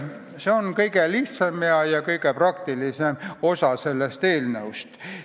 See on kõige lihtsam ja kõige praktilisem osa eelnõust.